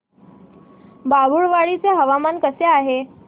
बाभुळवाडी चे हवामान कसे आहे